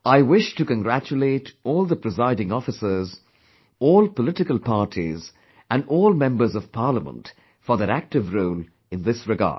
I wish to congratulate all the Presiding officers, all political parties and all members of parliament for their active role in this regard